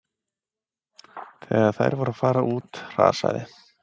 Þegar þær voru að fara út hrasaði